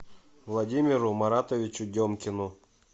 владимиру маратовичу демкину